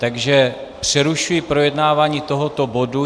Takže přerušuji projednávání tohoto bodu.